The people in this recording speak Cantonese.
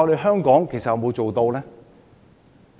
香港能否做到？